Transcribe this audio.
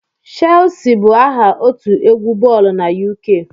Shelsi bụ aha otu egwu boolu na UK